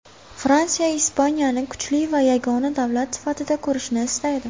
Fransiya Ispaniyani kuchli va yagona davlat sifatida ko‘rishni istaydi.